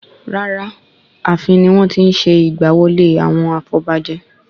Rara, Ààfin ni wọ́n tí n ṣe ìgbà wọlé àwọn afọbajẹ